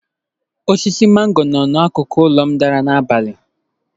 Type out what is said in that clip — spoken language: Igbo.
Osisi mango no n'akụkụ ụlọ m dara n'abalị.